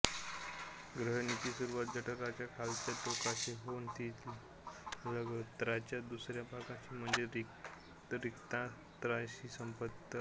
ग्रहणीची सुरुवात जठराच्या खालच्या टोकाशी होऊन ती लघ्वांत्राच्या दुसऱ्या भागाशी म्हणजे रिक्तांत्राशी संपते आंत्र